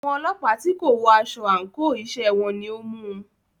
Àwọn ọlọ́pàá tí kò wọ aṣọ àńkò iṣẹ́ wọn ni o mú u.